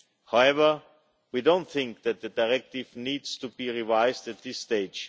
However, we don't think that the directive needs to be revised at this stage.